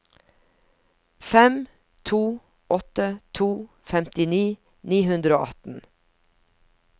fem to åtte to femtini ni hundre og atten